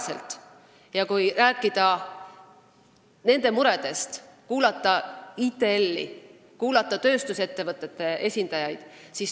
Tuleb kuulata nende muresid, kuulata ITL-i ja tööstusettevõtete esindajaid.